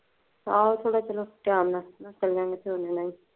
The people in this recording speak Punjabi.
ਆਹੋ, ਚਲੋ ਥੋੜਾ ਚਾਣਨਾ, Time ਨਾਲ ਨਿਕਲ ਜਾਇਓ।